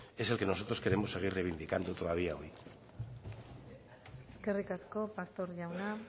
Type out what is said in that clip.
es el que nosotros queremos seguir reivindicando todavía hoy eskerrik asko pastor jauna